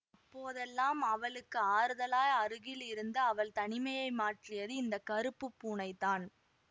அப்போதெல்லாம் அவளுக்கு ஆறுதலாய் அருகில் இருந்து அவள் தனிமையை மாற்றியது இந்த கறுப்பு பூனைதான்